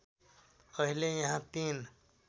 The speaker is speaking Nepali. अहिले यहाँ ३